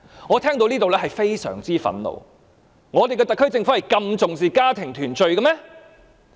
我聽到這言論，感到非常憤怒，我們的特區政府是否真的重視家庭團聚？